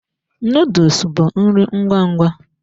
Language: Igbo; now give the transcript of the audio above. Nuduls bụ nri ngwa ngwa.